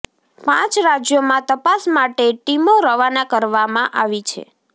પાંચ રાજ્યોમાં તપાસ માટે ટિમો રવાના કરવામાં આવી છે